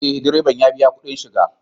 Ee, direban ya biya kuɗin shiga